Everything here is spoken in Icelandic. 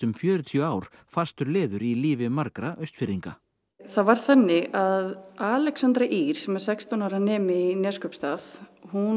fjörutíu ár fastur liður í lífi margra Austfirðinga það var þannig að Alexandra Ýr sem er sextán ára nemi í Neskaupstað